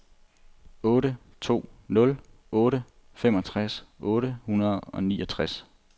otte to nul otte femogtres otte hundrede og niogtres